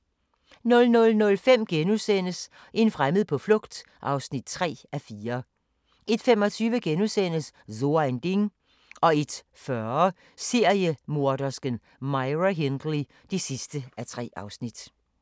00:05: En fremmed på flugt (3:4)* 01:25: So ein Ding * 01:40: Seriemordersken: Myra Hindley (3:3)